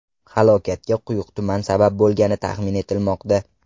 Halokatga quyuq tuman sabab bo‘lgani taxmin etilmoqda.